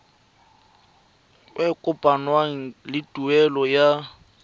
e kopanngwang le tuelo ya